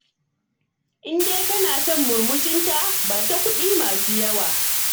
In dai kana son murmushinta, ba ta kuɗi masu yawa